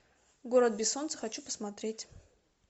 город без солнца хочу посмотреть